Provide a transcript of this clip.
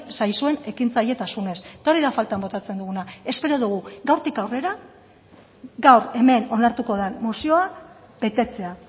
zaizuen ekintzailetasunez eta hori da faltan botatzen duguna espero dugu gaurtik aurrera gaur hemen onartuko den mozioa betetzea